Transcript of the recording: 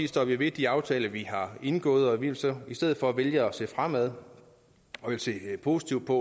står vi ved de aftaler vi har indgået og vi vil så i stedet for vælge at se fremad og se positivt på